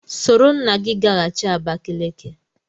Soro nna gị gaghachi Abakaliki!